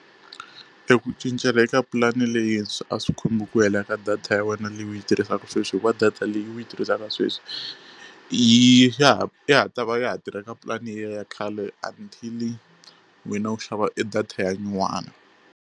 E ku cincela eka pulani leyintshwa a swi khomi ku hela ka data ya wena leyi u yi tirhisaka sweswi hikuva data leyi u yi tirhisaka sweswi yi ya ha ya ha ta va ya ha tirha eka pulani leya khale until wena u xava e data ya nyuwani.